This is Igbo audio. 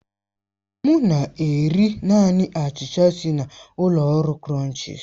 M na-eri naanị achicha si na ụlọ oriri krònchis